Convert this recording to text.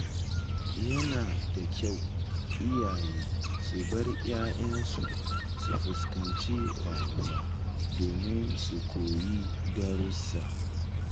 Yana da kyau iyaye su bar ‘ya’yansu su fuskanci rayuwa domin su koyi darussa.